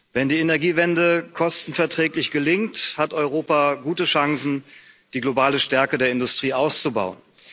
Wenn die Energiewende kostenverträglich gelingt, hat Europa gute Chancen, die globale Stärke der Industrie auszubauen.